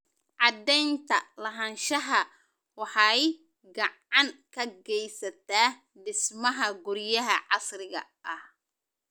Cadaynta lahaanshaha waxay gacan ka geysataa dhismaha guryaha casriga ah.